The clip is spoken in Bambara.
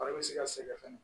bɛ se ka sɛgɛn fɛnɛ